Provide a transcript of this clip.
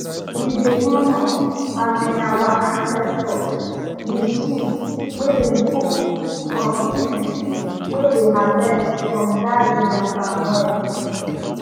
we dey honor um our ancestors with soup wey dem cook from tins way dey harvest from garden and palm oil